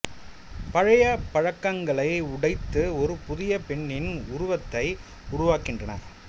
பழைய பழக்கங்களை உடைத்து ஒரு புதிய பெண்ணின் உருவத்தை உருவாக்குகின்றன